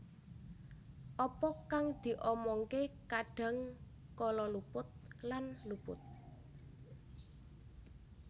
Apa kang diomongke kadang kala luput lan luput